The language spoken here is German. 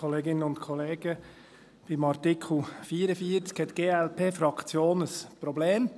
Bei Artikel 44 hat die Glp-Fraktion ein Problem.